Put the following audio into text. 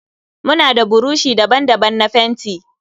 Muna da burushi daban-daban na fenti.